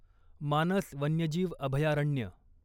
मानस वन्यजीव अभयारण्य